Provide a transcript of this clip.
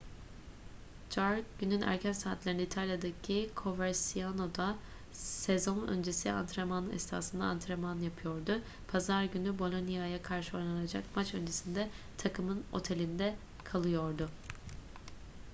jarque günün erken saatlerinde i̇talya'daki coverciano'da sezon öncesi antrenman esnasında antrenman yapıyordu. pazar günü bolonia'ya karşı oynanacak maç öncesinde takımın otelinde kalıyordu